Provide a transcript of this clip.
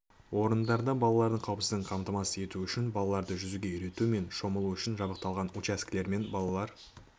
орындарында балалардың қауіпсіздігін қамтамасыз ету үшін балаларды жүзуге үйрету мен шомылуы үшін жабдықталған учаскелермен балалар